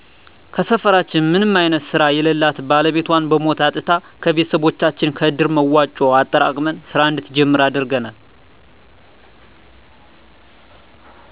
ከሰፈራችን ምንም አይነት ስራ የለላት ባለቤቷን በሞት አጥታ ከቤቶሰቦቻችን ከእድር መዋጮ አጠራቅመን ስራ እንድትጀምር አድርገናል